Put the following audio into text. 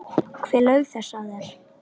Hver laug þessu að þér?